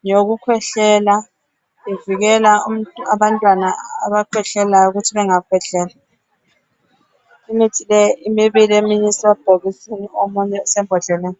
ngeyokukhwehlela ivikela abantwana abakhwehlelayo ukuthi bemgakhwehleli. Imithi leyi mibili omunye usebhokisini omunye usembodleleni.